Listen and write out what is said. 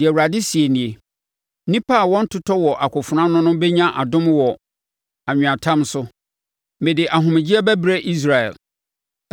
Deɛ Awurade seɛ nie: “Nnipa a wɔntotɔ wɔ akofena ano no bɛnya adom wɔ anweatam so; mede ahomegyeɛ bɛbrɛ Israel.”